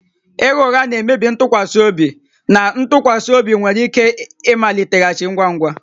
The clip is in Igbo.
Ịgha ụgha na-emebi ntụkwasị obi na ntụkwasị obi nwere ike ịmaliteghachi ngwa ngwa